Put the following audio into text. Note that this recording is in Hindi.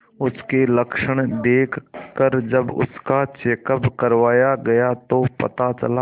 उसके लक्षण देखकरजब उसका चेकअप करवाया गया तो पता चला